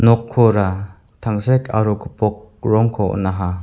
nokkora tangsek aro gipok rongko on·aha.